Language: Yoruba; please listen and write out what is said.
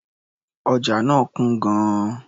Ọjà náà kún gan-an.